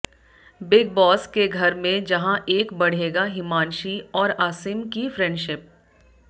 big boss के घर में जहां एक बढ़ेगा हिमांशी और आसिम की फ्रेंडशिप